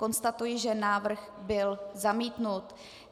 Konstatuji, že návrh byl zamítnut.